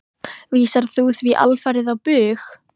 Vísar þú því alfarið á bug?